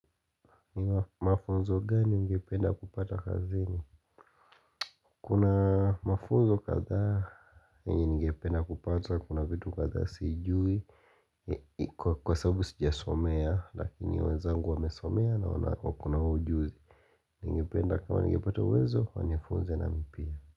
Ni mafunzo gani ningependa kupata kazini? Kuna mafunzo kadhaa yenye ningependa kupata kuna vitu kadhaa sijui Kwa sababu sijasomea lakini wenzangu wamesomea na wana wako na ujuzi ningependa kama ningepata uwezo wanifunze nami pia.